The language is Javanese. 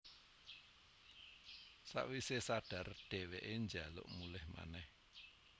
Sawisé sadar dhèwèké njaluk mulih manèh